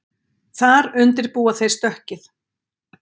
Þar undirbúa þeir stökkið